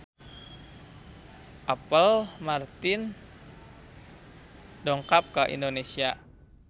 Apple Martin dongkap ka Indonesia